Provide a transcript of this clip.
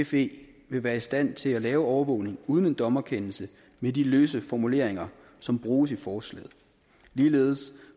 fe vil være i stand til at lave overvågning uden en dommerkendelse med de løse formuleringer som bruges i forslaget ligeledes